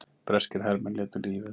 Breskir hermenn létu lífið